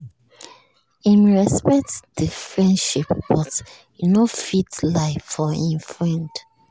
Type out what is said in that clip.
him respect the friendship but he no fit lie for him friend